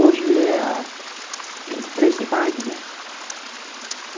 Hoje é a vinte e três de maio, né?